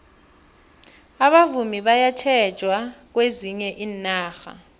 abavumi bayathatjelwa kwezinye iinarha